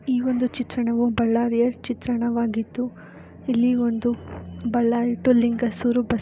ಈ ಒಂದು ಚಿತ್ರಣವು ಬಳ್ಳಾರೀ ಚಿತ್ರಣವಾಗಿದ್ದು ಇಲ್ಲಿ ಒಂದು ಬೆಳ್ಳಾರಿ ಟು ಲಿಂಗಸೂರು ಬಸ್